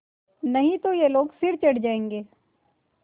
नहीं तो ये लोग सिर चढ़ जाऐंगे